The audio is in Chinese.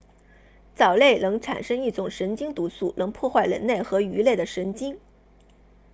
藻类能产生一种神经毒素能破坏人类和鱼类的神经